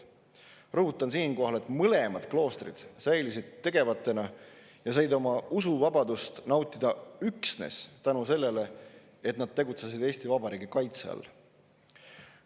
Rõhutan siinkohal, et mõlemad kloostrid säilisid tegevatena ja said usuvabadust nautida üksnes tänu sellele, et nad tegutsesid Eesti Vabariigi kaitse all.